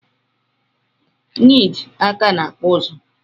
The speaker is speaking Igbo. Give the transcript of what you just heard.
Nid Awka na akpụ ozu